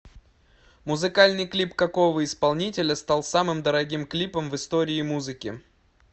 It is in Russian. музыкальный клип какого исполнителя стал самым дорогим клипом в истории музыки